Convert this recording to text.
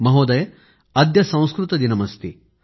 महोदय अद्य संस्कृत दिनमस्ति